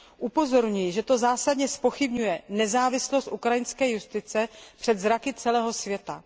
Upozorňuji, že to zásadně zpochybňuje nezávislost ukrajinské justice před zraky celého světa.